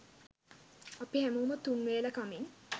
අපි හැමෝම තුන් වේල කමින්